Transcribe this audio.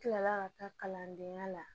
Kila la ka taa kalandenya la